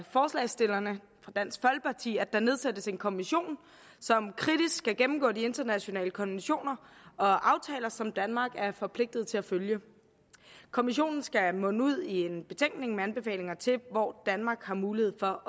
forslagsstillerne fra dansk folkeparti at der nedsættes en kommission som kritisk skal gennemgå de internationale konventioner og aftaler som danmark er forpligtet til at følge kommissionen skal munde ud i en betænkning med anbefalinger til hvor danmark har mulighed for